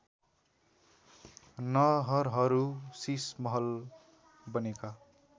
नहरहरू शीशमहल बनेका